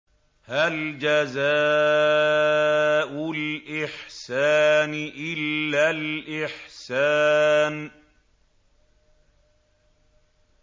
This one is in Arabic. هَلْ جَزَاءُ الْإِحْسَانِ إِلَّا الْإِحْسَانُ